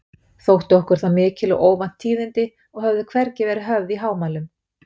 Þóttu okkur það mikil og óvænt tíðindi og höfðu hvergi verið höfð í hámælum.